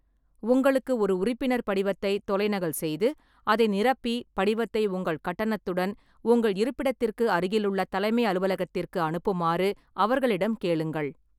உங்களுக்கு ஒரு உறுப்பினர் படிவத்தை தொலைநகல் செய்து, அதை நிரப்பி, படிவத்தை உங்கள் கட்டணத்துடன் உங்கள் இருப்பிடத்திற்கு அருகிலுள்ள தலைமை அலுவலகத்திற்கு அனுப்புமாறு அவர்களிடம் கேளுங்கள்.